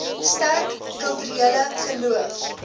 sterk kulturele geloof